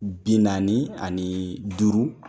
Bi naani ani duuru,